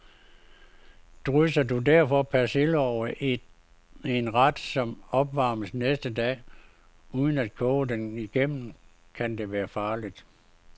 Drysser du derfor persille over en ret, som opvarmes næste dag, uden at koge den igennem, kan det være farligt.